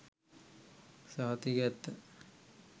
සහතික ඇත්ත.